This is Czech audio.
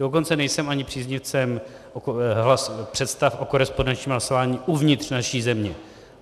Dokonce nejsem ani příznivcem představ o korespondenčním hlasování uvnitř naší země.